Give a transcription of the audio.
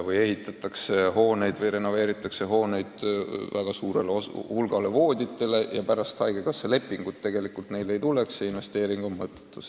Vahest ehitatakse või renoveeritakse hooneid väga suurele hulgale vooditele, aga haigekassa lepingut nende kasutamiseks ei tule ja investeering osutub mõttetuks.